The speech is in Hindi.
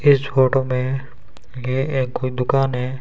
इस फोटो में ये एक कोई दुकान है।